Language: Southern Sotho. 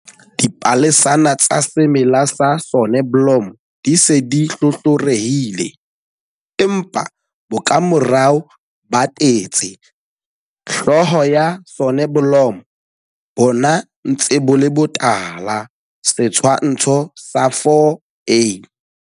Dipalesana tsa semela sa soneblomo di se di hlohlorehile, empa bokamorao ba tetse, hloho ya soneblomo, bo ntse bo le botala. Setshwantsho sa 4a.